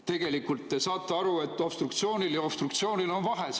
Tegelikult te saate aru, et obstruktsioonil ja obstruktsioonil on vahe.